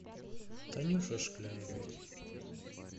танюши шкляевой